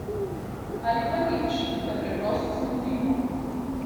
Ali pa nič, da preprosto zamudimo.